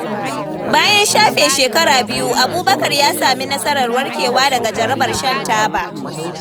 Bayan shafe shekaru biyar, Abubakar ya sami nasarar warkewa daga jarabar shan taba.